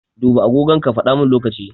Duba agogon ka faɗa mana lokaci.